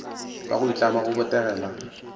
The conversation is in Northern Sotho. goba go itlama go botegela